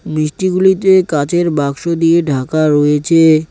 মিষ্টিগুলিতে কাঁচের বাক্স দিয়ে ঢাকা রয়েছে।